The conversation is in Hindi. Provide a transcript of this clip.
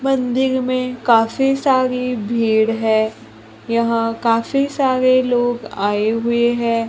मंदिर में काफी सारी भीड़ है यहां काफी सारे लोग आए हुए हैं।